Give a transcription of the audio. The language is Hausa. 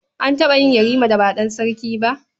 An taɓa yin Yarima da ba ɗan sarki ba?